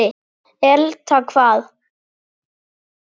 Elta hvað?